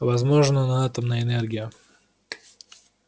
возможно на атомной энергии